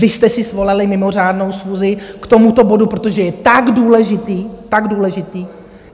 Vy jste si svolali mimořádnou schůzi k tomuto bodu, protože je tak důležitý, tak důležitý.